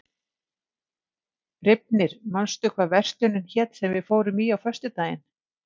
Reifnir, manstu hvað verslunin hét sem við fórum í á föstudaginn?